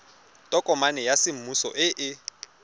tokomane ya semmuso e e